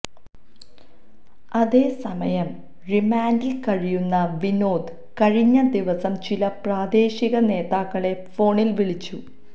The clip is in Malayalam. അതേ സമയം റിമാൻഡിൽ കഴിയുന്ന വിനോദ് കഴിഞ്ഞ ദിവസം ചില പ്രാദേശിക നേതാക്കളെ ഫോണിൽ വിളിച്ചു